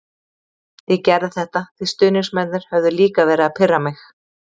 Ég gerði þetta því stuðningsmennirnir höfðu líka verið að pirra mig.